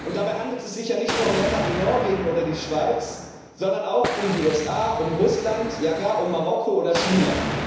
Dabei handelt es sich ja nicht nur um Länder wie Norwegen oder die Schweiz, sondern auch um die USA, um Russland, ja gar um Marokko oder China.